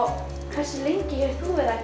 hversu lengi hefur þú